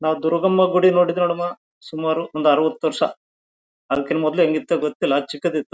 ನಾವು ದುರ್ಗಮ್ಮ ಗುಡಿ ನೋಡಿದ್ದೇವಮ್ಮ ಸುಮಾರು ಒಂದು ಅರವತ್ತು ವರ್ಷ ಅದಕ್ಕಿಂತ ಮೊದಲೇ ಹೆಂಗ ಇತ್ತಾ ಗೊತ್ತಿಲ್ಲ ಚಿಕ್ಕದಿತ್ತು--